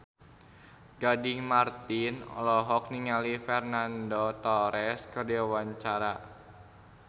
Gading Marten olohok ningali Fernando Torres keur diwawancara